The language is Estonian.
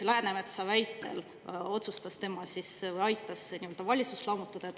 Läänemetsa väitel ta nüüd otsustas või aitas valitsust lammutada.